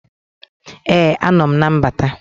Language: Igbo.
Ee anọ m na mbata